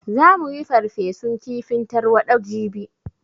Za mu yi farfesun kifin tarwaɗa jibi